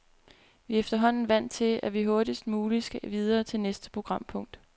Vi er efterhånden vant til, at vi hurtigst muligt skal videre til næste programpunkt.